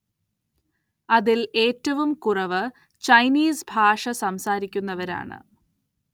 അതിൽ ഏറ്റവും കുറവ് ചൈനീസ് ഭാഷ സംസാരിക്കുന്നവരാണ്.